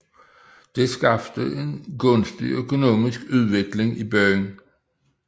Det skabte en gunstig økonomisk udvikling i byen